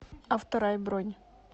авторай бронь